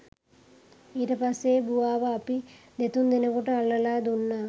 ඊට පස්සෙ බුවාව අපි දෙතුන් දෙනෙකුට අල්ලලා දුන්නා